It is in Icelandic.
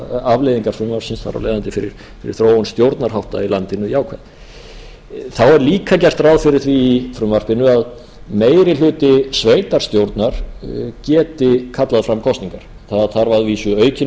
afleiðingar frumvarpsins þar af leiðandi fyrir þróun stjórnarhátta í landinu jákvæðar þá er líka gert ráð fyrir því í frumvarpinu að meiri hluta sveitarstjórnar geti kallað fram kosningar það þarf að vísu aukinn